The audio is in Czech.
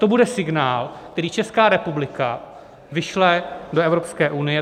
To bude signál, který Česká republika vyšle do Evropské unie.